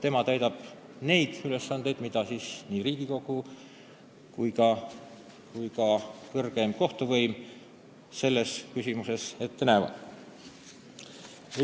Tema täidab neid ülesandeid, mida nii Riigikogu kui ka kõrgeim kohtuvõim selles küsimuses ette näevad.